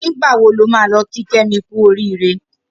Nigbà wó ló mà lọ ki Kemi kù óriré?